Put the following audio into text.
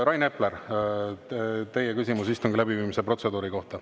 Rain Epler, teie küsimus istungi läbiviimise protseduuri kohta.